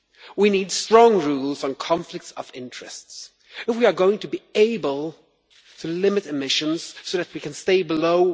We need strong rules on conflicts of interest if we are going to be able to limit emissions so that we can stay below